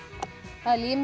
það er límið